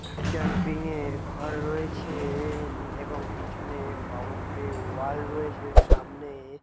camping এর ঘর রয়েছে উম এবং পিছনে বাউন্ডারি ওয়াল রয়েছে সামনে --